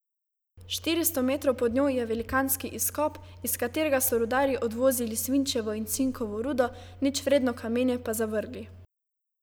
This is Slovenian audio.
Štiristo metrov pod njo je velikanski izkop, iz katerega so rudarji odvozili svinčevo in cinkovo rudo, ničvredno kamenje pa zavrgli.